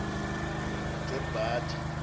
jotbatha